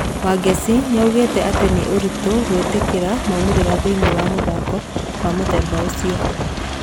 Wangeci nĩ augĩte atĩ nĩ ũritũgwĩtĩkĩra maumĩrĩra thĩiniĩ wa mũthako wa mũthemba ũcio.